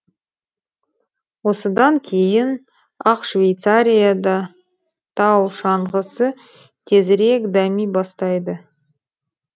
осыдан кейін ақ швейцария да тау шаңғысы тезірек дами бастайды